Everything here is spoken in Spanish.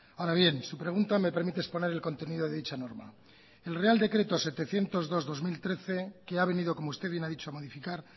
ahora bien su pregunta me permite exponer el contenido de dicha norma el real decreto setecientos dos barra dos mil trece que ha venido como usted bien ha dicho a modificar